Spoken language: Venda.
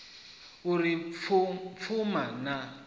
u ri o pfuma na